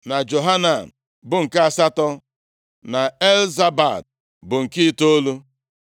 na Johanan bụ nke asatọ, na Elzabad bụ nke itoolu,